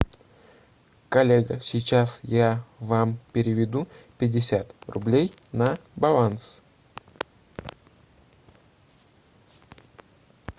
коллега сейчас я вам переведу пятьдесят рублей на баланс